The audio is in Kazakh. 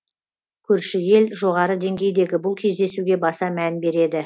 көрші ел жоғары деңгейдегі бұл кездесуге баса мән береді